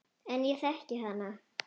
En ég þekki hana.